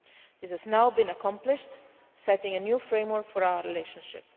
This has now been accomplished, setting a new framework for our relationship.